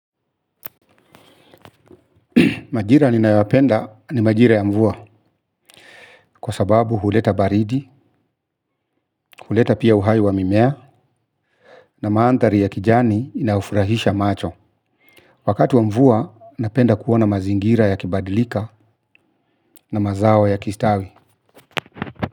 Majira ninayopenda ni majira ya mvua kwa sababu huleta baridi, huleta pia uhai wa mimea na maandhari ya kijani inayofurahisha macho. Wakati wa mvua napenda kuona mazingira yakibadilika na mazao yakistawi.